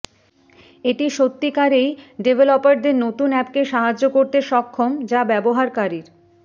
এটি সত্যিকারেই ডেভলপারদের নতুন অ্যাপকে সাহায্য করতে সক্ষম যা ব্যবহারকারীর